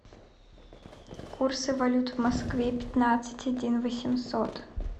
курсы валют в москве пятнадцать один восемьсот